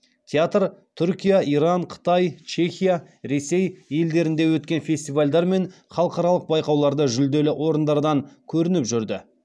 театр түркия иран қытай чехия ресей елдерінде өткен фестивальдар мен халықаралық байқауларда жүлделі орындардан көрініп жүрді